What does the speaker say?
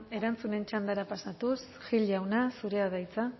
erantzunen txandara pasatuz gil jauna zurea da hitza